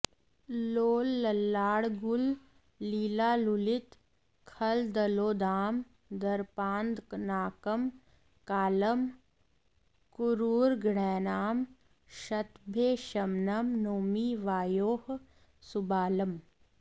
लोलल्लाङ्गूल लीलालुलित खलदलोद्दाम दर्पान्धनाकं कालं क्रूरग्रहाणां शतभयशमनं नौमि वायोः सुबालम्